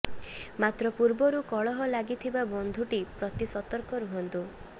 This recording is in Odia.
ମାତ୍ର ପୂର୍ବରୁ କଳହ ଲାଗିଥିବା ବନ୍ଧୁଟି ପ୍ରତି ସତର୍କ ରୁହନ୍ତୁ